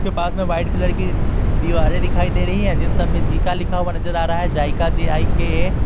इश्के पास में white colour की दीवारें दिखाई दे रही है जिन सब में जीका लिखा हुआ नजर आ रहा है जाइका जे_आई_के_ए ।